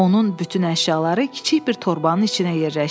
Onun bütün əşyaları kiçik bir torbanın içinə yerləşdi.